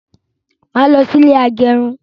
Máa lọ sí ilé agẹrun